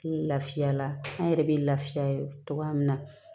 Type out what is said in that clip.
Lafiya la an yɛrɛ bɛ lafiya togoya min na